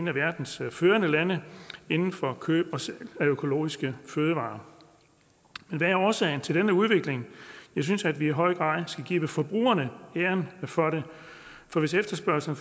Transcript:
af verdens førende lande inden for køb af økologiske fødevarer hvad er årsagen til denne udvikling jeg synes at vi i høj grad skal give forbrugerne æren for det for hvis efterspørgslen